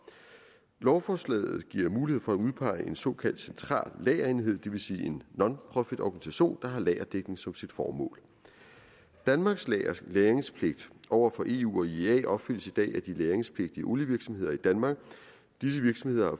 lovforslaget giver mulighed for at udpege en såkaldt central lagerenhed det vil sige en nonprofitorganisation der har lagerdækning som sit formål danmarks lagringspligt over for eu og iea opfyldes i dag af de lagringspligtige olievirksomheder i danmark disse virksomheder